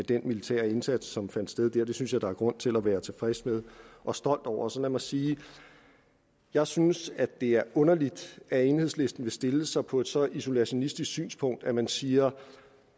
den militære indsats som fandt sted der og det synes jeg der er grund til at være tilfreds med og stolt over så lad mig sige at jeg synes at det er underligt at enhedslisten vil stille sig på et så isolationistisk synspunkt at man siger at